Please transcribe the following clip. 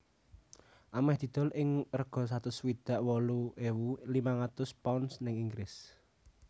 ameh didol ing rega satus swidak wolu ewu limang atus pounds ning Inggris